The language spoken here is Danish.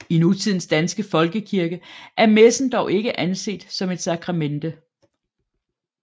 I nutidens danske folkekirke er messen dog ikke anset som et sakramente